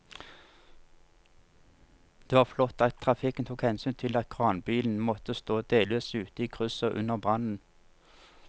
Det var flott at trafikken tok hensyn til at kranbilen måtte stå delvis ute i krysset under brannen.